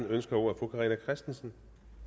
ønsker ordet fru carina christensen